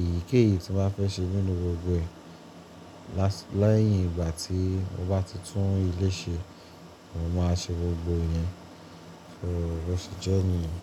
Èyíkéyìí tí mo fẹ́ ṣe nínú gbogbo ẹ̀. Lẹ́yìn ìgbà tí mo bá ti tún ilé ṣe, mo máa ṣe gbogbo ìyẹn. So bí ó ṣe jẹ́ níyẹn.